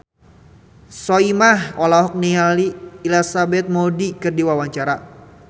Soimah olohok ningali Elizabeth Moody keur diwawancara